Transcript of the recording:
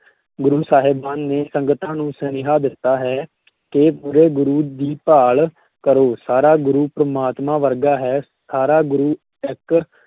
ਗੁਰੂ ਸਾਹਿਬਾਨ ਨੇ ਸੰਗਤਾਂ ਨੂੰ ਸੁਨੇਹਾ ਦਿੱਤਾ ਹੈ ਕਿ ਪੂਰੇ ਗੁਰੂ ਦੀ ਭਾਲ ਕਰੋ, ਸਾਰਾ ਗੁਰੂ ਪਰਮਾਤਮਾ ਵਰਗਾ ਹੈ, ਸਾਰਾ ਗੁਰੂ ਇੱਕ